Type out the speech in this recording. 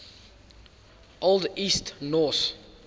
old east norse